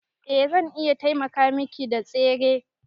Eh zan iya taimaka Miki da tsere.